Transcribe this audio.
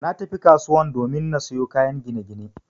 Natafi kasuwan domin na sayo kayan ginagine